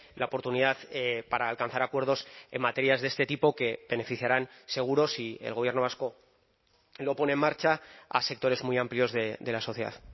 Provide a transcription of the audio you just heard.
la oportunidad para alcanzar acuerdos en materias de este tipo que beneficiarán seguro si el gobierno vasco lo pone en marcha a sectores muy amplios de la sociedad